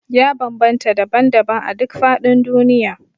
Ya bambanta daban-daban a duk faɗin duniya